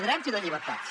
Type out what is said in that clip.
drets i de llibertats